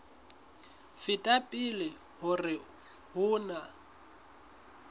feta pele hore ho na